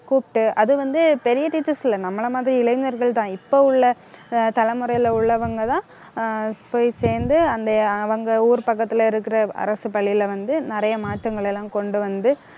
கூப்பிட்டு, அது வந்து, பெரிய teachers இல்லை. நம்மளை மாதிரி இளைஞர்கள்தான். இப்போ உள்ள, ஆஹ் தலைமுறையிலே உள்ளவங்கதான் ஆஹ் போய் சேர்ந்து அந்த அவங்க ஊர் பக்கத்திலே இருக்கிற அரசுப் பள்ளியிலே வந்து, நிறைய மாற்றங்களை எல்லாம் கொண்டு வந்து